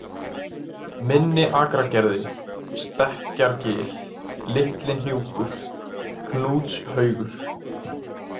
Minniakragerði, Stekkjargil, Litli-Hnjúkur, Knútshaugur